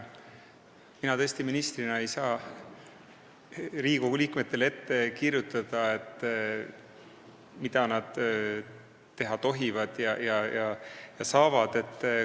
Mina tõesti ministrina ei saa Riigikogu liikmetele ette kirjutada, mida nad tohivad ja saavad teha.